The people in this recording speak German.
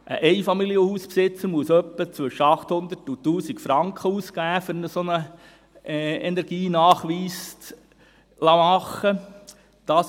Ein Einfamilienhausbesitzer muss ungefähr zwischen 800 und 1000 Franken ausgeben, um einen solchen Energienachweis machen zu lassen.